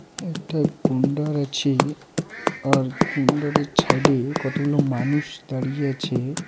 একটা গন্ডার আছে। আর গন্ডারের ছাইদে কতগুলো মানুষ দাঁড়িয়ে আছে ।